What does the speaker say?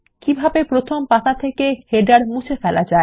কিভাবে প্রথম পাতা থেকে শিরোলেখ মুছে ফেলা যায়